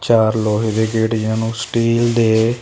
ਚਾਰ ਲੋਹੇ ਦੇ ਗੇਟ ਜਿਹਨਾਂ ਨੂੰ ਸਟੀਲ ਦੇ --